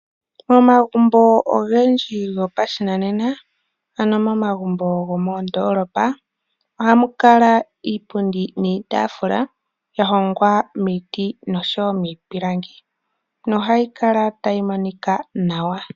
Momagumbo ogendji gopashinanena, ano momagumbo gomoondolopa , ohamu kala iipundi niitaafula ya hongwa miiti nosho woo miipilangi nohayi kala tayi monika nawa .